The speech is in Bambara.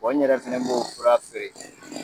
Bɔn n yɛrɛ fɛnɛ b'o fura feere